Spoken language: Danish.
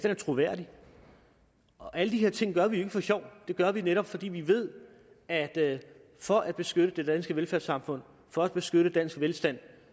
er troværdig og alle de her ting gør vi jo ikke for sjov dem gør vi netop fordi vi ved at at for at beskytte det danske velfærdssamfund for at beskytte dansk velstand